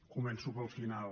començo pel final